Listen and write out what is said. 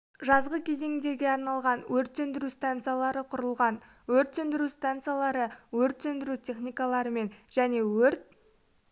жазғы кезеңге арналған өрт сөндіру станциялары құрылған өрт сөндіру станциялары өрт сөндіру техникаларымен және өрт